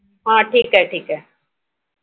ठीक आहे ठीक आहे